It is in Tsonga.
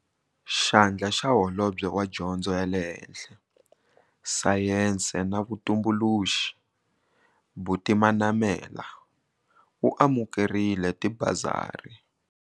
Xandla xa Holobye wa Dyondzo ya le Henhla, Sayense na Vutumbuluxi, Buti Manamela u amukerile tibasari.